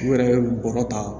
U yɛrɛ ye bɔgɔ ta